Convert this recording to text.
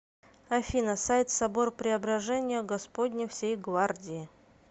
афина сайт собор преображения господня всей гвардии